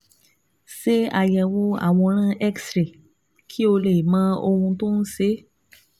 Ṣe àyẹ̀wò àwòrán X-ray kí o lè mọ ohun tó ń ṣe é